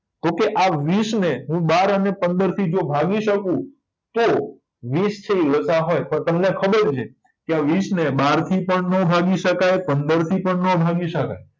તોકે આ વીસને હું બાર અને પંદરથી ભાગી શકુ તો વીસ છે ઇ લસાઅ હોય તો તમને ખબર છે કે આ વીસને બારથી પણ નો ભાગી શકાય પંદરથી પણ નો ભાગી શકાય